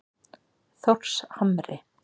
Þórshamri